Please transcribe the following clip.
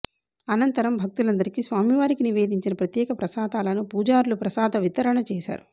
అనంతరం భక్తులందరికీ స్వామివారికి నివేదించిన ప్రత్యేక ప్రసాదాలను పూజారులు ప్రసాద వితరణ చేశారు